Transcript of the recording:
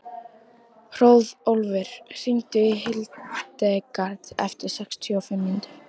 Hróðólfur, hringdu í Hildegard eftir sextíu og fimm mínútur.